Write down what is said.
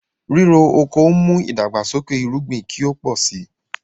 Rírò oko n mú idàgbàsókè èrùgbìn kí o pọ̀ sí.